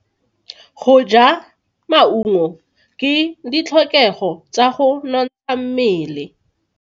Go ja maungo ke ditlhokego tsa go nontsha mmele.